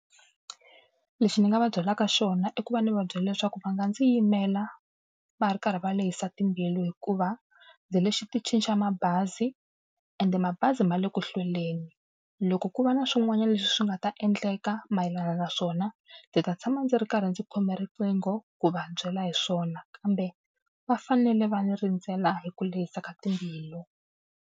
Lexi ni nga va byelaka xona i ku va ni va byela leswaku va nga ndzi yimela va ri karhi va le hisa timbilu hikuva, ndzi le xiticini xa mabazi ende mabazi ma le ku hlweleni. Loko ku va na swin'wanyana leswi nga ta endleka mayelana na swona, ndzi ta tshama ndzi ri karhi ndzi khome riqingho ku va byela hi swona kambe va fanele va ni rindzela hi ku lehisa ka timbilu.